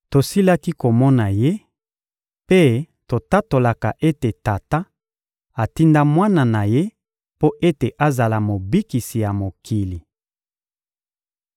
Tosilaki komona Ye mpe totatolaka ete Tata atinda Mwana na Ye mpo ete azala Mobikisi ya mokili.